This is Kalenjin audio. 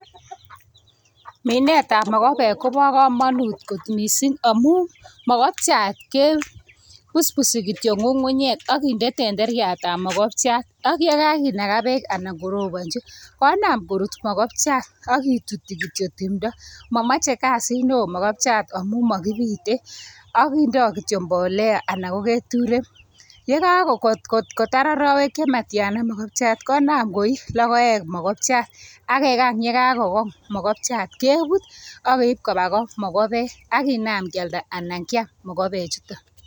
Minetab mokobek kobo komonut kot missing amun mokobchaat kebusbusii kityok ngungunyek akinde tenderiatab ,mokobchaat. Ak kinagaa bek anan ingorobonyi konaam korut mokopchat .Akitutyin kityok timdoo, momoche kasit newo, mokobchat amun mokibite akindo kityok mbolea Alan ko keturek. Ye kakotar arawek chematiana mokopchat konaam koi logoek, mokopchat. Ak kekany ye kakokong mokopchat kebut ak keib koba goo mokobek ak kinaam kialda anan kiam mokopek chuton.